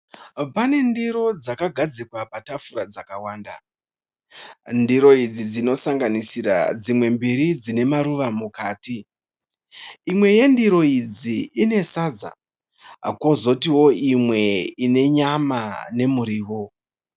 Pane ndiro dzakagadzikwa patafura dzakawanda, ndiro idzi dzinosanganisira dzimwe mbiri dzine maruva mukati. Imwe yendiro idzi ine sadza kozotiwo imwe ine nyama nemuriwo